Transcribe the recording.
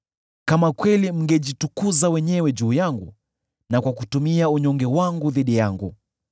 Kama kweli mngejitukuza wenyewe juu yangu, na kutumia unyonge wangu dhidi yangu,